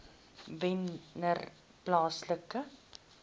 wennerplaaslike